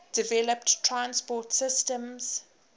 developed transport systems